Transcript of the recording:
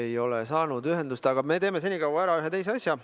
Me ei ole ühendust saanud, aga me teeme senikaua ära ühe teise asja.